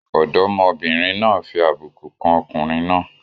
Ọ̀dọ́mọbìnrin náà fi àbùkù kan ọkùnrin náà.